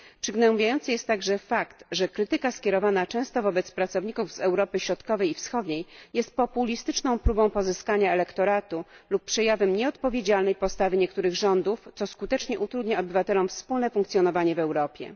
Przygnębiający jest także fakt, że krytyka skierowana często wobec pracowników z Europy Środkowej i Wschodniej jest populistyczną próbą pozyskania elektoratu lub przejawem nieodpowiedzialnej postawy niektórych rządów, co skutecznie utrudnia obywatelom wspólne funkcjonowanie w Europie.